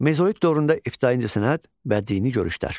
Mezolit dövründə ibtidai incəsənət və dini görüşlər.